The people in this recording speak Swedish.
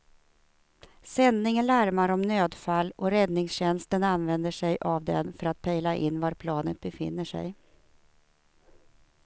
Sändningen larmar om nödfall och räddningstjänsten använder sig av den för att pejla in var planet befinner sig.